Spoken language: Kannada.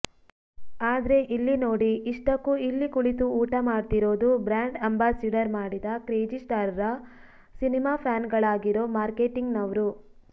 ಆದ್ರೆ ಇಲ್ಲಿ ನೋಡಿ ಇಷ್ಟಕ್ಕೂ ಇಲ್ಲಿ ಕುಳಿತು ಊಟ ಮಾಡ್ತಿರೋದು ಬ್ರ್ಯಾಂಡ್ ಅಂಬಾಸಿಡಾರ್ ಮಾಡಿದ ಕ್ರೇಜಿಸ್ಟಾರ್ರ ಸಿನಿಮಾ ಫ್ಯಾನ್ಗಳಾಗಿರೋ ಮಾಕರ್ೇಟಿಂಗ್ನವ್ರು